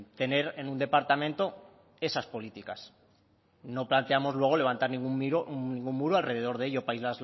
tener en un departamento esas políticas no planteamos luego levantar ningún muro alrededor de ello para